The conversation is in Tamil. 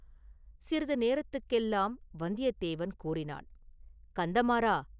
சிறிது நேரத்துக்கெல்லாம் வந்தியத்தேவன் கூறினான்; “கந்தமாறா!